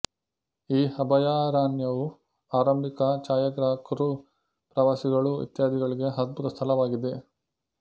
ಈ ಅಭಯಾರಣ್ಯವು ಆರಂಭಿಕ ಛಾಯಾಗ್ರಾಹಕ್ರು ಪ್ರವಾಸಿಗಳು ಇತ್ಯಾದಿಗಳಿಗೆ ಅದ್ಭುತ ಸ್ಥಳವಾಗಿದೆ